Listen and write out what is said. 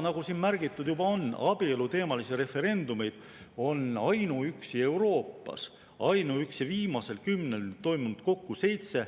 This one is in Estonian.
Nagu siin juba märgitud on, abieluteemalisi referendumeid on ainuüksi Euroopas, ainuüksi viimasel kümnendil toimunud kokku seitse: